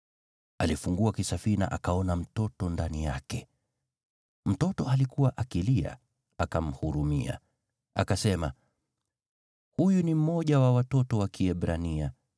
Alifungua kisafina akaona mtoto ndani yake. Mtoto alikuwa akilia, akamhurumia. Akasema, “Huyu ni mmoja wa watoto wa Kiebrania.”